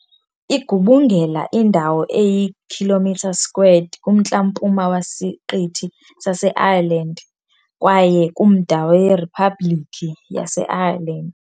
Igubungela indawo eyi-km² kumntla-mpuma wesiqithi saseIreland kwaye kumda weRiphabhlikhi yaseIreland.